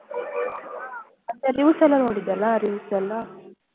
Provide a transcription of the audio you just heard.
ಅಂದ್ರೆ reviews ಎಲ್ಲ ನೋಡಿದ್ದೆ ಅಲ್ಲ reviews ಎಲ್ಲ.